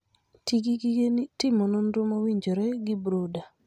Ti gi gige timo nonro mowinjore gi brooder.